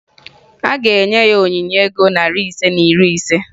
A ga-enye ya onyinye ego narị ise na iri ise